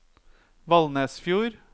Valnesfjord